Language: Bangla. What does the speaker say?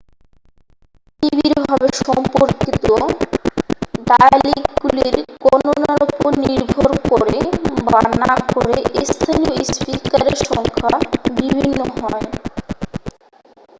খুবই নিবিড়ভাবে সম্পর্কিত ডায়ালিকগুলির গণনার উপর নির্ভর করে বা না করে স্থানীয় স্পিকারের সংখ্যা বিভিন্ন হয়